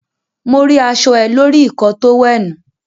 Mo ri aṣọ ẹ lórí ikọ́ọ tówẹ̀ẹ́nù.